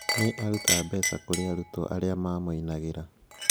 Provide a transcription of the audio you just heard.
Nĩ aarutaga mbeca kũrĩ arutwo arĩaarutwo arĩa maamũinagĩra.